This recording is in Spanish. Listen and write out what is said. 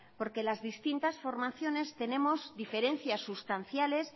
porque las distintas formaciones tenemos diferencias sustanciales